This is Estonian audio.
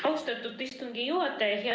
Austatud istungi juhataja!